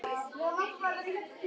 Stoltið mitt.